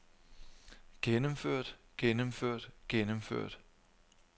gennemført gennemført gennemført